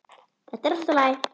Þetta er allt í lagi.